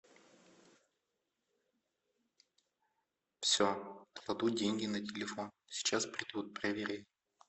все кладу деньги на телефон сейчас придут проверяй